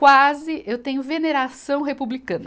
Quase eu tenho veneração republicana.